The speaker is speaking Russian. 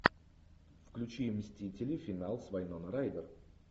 включи мстители финал с вайнона райдер